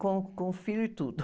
Com, com filho e tudo.